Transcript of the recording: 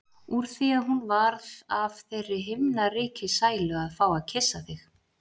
Úr því að hún varð af þeirri himnaríkissælu að fá að kyssa þig.